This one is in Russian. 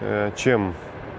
а чем